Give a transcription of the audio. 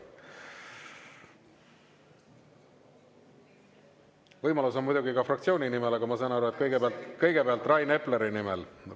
Võimalus on muidugi ka fraktsiooni nimel, aga ma saan aru, et kõigepealt Rain Epleri nimel.